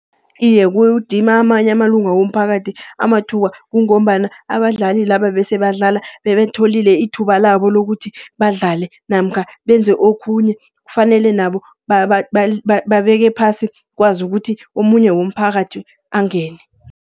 Iye kudima amanye amalunga womphakathi amathuba, kungombana abadlali laba bese badlala, bebalitholile ithuba labo lokuthi badlale. Namkha benze okhunye kufanele nabo babeke phasi, kwazi ukuthi omunye womphakathi angene.